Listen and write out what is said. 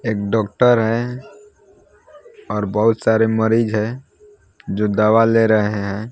एक डॉक्टर है और बहुत सारे मरीज है जो दवा ले रहे हैं।